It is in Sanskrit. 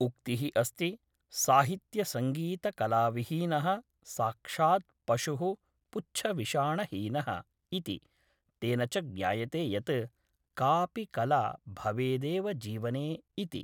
उक्तिः अस्ति साहित्यसङ्गीतकलाविहीनः साक्षात् पशुः पुच्छविषाणहीनः इति तेन च ज्ञायते यत् कापि कला भवेदेव जीवने इति